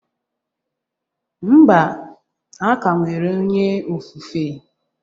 Mba, a ka nwere onye ofufe